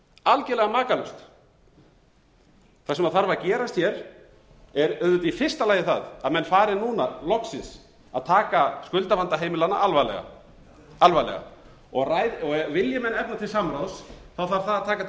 algerlega makalaust það sem þarf að gerast hér er auðvitað í fyrsta lagi það að menn fari koma loksins að taka skuldavanda heimilanna alvarlega alvarlega og vilji menn efna til samráðs þarf það að taka til